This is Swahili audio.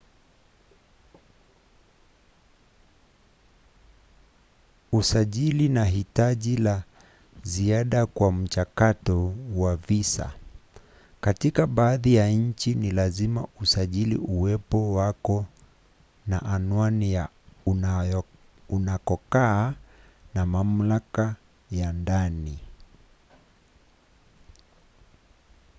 usajili ni hitaji la ziada kwa mchakato wa visa. katika baadhi ya nchi ni lazima usajili uwepo wako na anwani ya unakokaa na mamlaka ya ndani